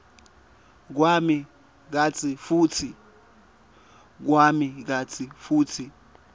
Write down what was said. kwami kantsi futsi